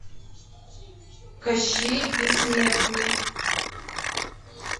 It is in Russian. кощей бессмертный